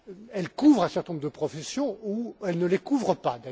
Elle couvre un certain nombre de professions ou elle ne les couvre pas.